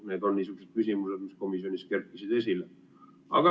Need on niisugused küsimused, mis komisjonis kerkisid esile.